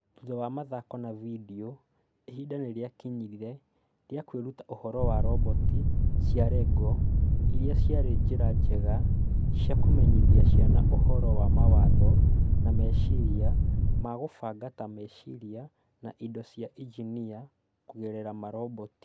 Thutha wa mathako na vidio, ihinda nĩrĩakinyire rĩa kwĩruta ũhoro wa roboti cia Lego, irĩa ciarĩ njĩra njega cia kũmenyithia ciana ũhoro wa mawatho na meciria ma kũbanga ta meciria na indo cia injinia kũgerera maroboti